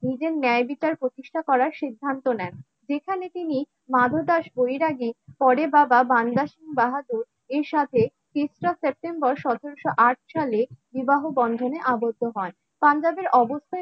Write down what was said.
নিজের ন্যায় বিচার প্রতিষ্ঠা করার সিদ্ধান্ত নেন. যেখানে তিনি মাধু দাস বৈরাগী পরে বাবা বান্দাস বাহাদুর এর সাথে তেসরা সেপ্টেম্বর সতেরোশো আট সাল বিবাহ বন্ধনে আবদ্ধ হন. পাঞ্জাবের অবস্থা